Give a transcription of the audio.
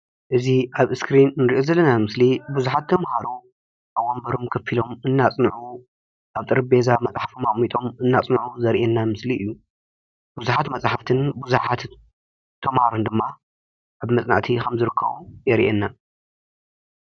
እዚ ኣብ እስክሪን ንሪኦ ዘለና ምስሊ ብዙሓት ተምሃሮ ኣብ ወንበሮም ኮፍ ኢሎም እናፅንዑ ኣብ ጠረጴዛ መፅሓፎም ኣቀሚጦም እንፅንዑ ዘሪአና ምስሊ እዩ። ብዙሓት መፅሓፍትን ብዙሓት ተመሃሮን ድማ ኣብ መፅናዕቲ ከም ዝርከቡ የሪአና ።